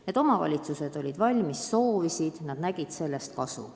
Need omavalitsused olid valmis katsetama ja nad nägid selles kasu.